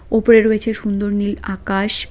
উপরে রয়েছে সুন্দর নীল আকাশ।